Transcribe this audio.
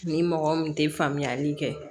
Ni mɔgɔ min tɛ faamuyali kɛ